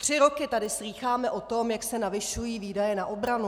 Tři roky tady slýcháme o tom, jak se navyšují výdaje na obranu.